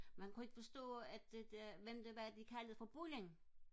men han kunne ikke forstå at det der hvad de kaldte for bulling